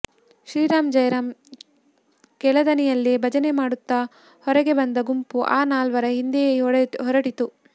ಶ್ರೀರಾಮ್ ಜೈರಾಮ್ ಕೆಳದನಿಯಲ್ಲೇ ಭಜನೆ ಮಾಡುತ್ತ ಹೊರಗೆ ಬಂದ ಗುಂಪು ಆ ನಾಲ್ವರ ಹಿಂದೆಯೇ ಹೊರಟಿತು